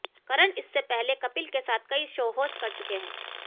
करण इससे पहले कपिल के साथ कई शो होस्ट कर चुके हैं